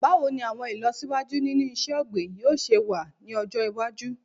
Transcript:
Báwo ni àwọn ìlọsíwájú nínú iṣẹ́-ọ̀gbìn yóò se wà ní ọjọ́ iwájú?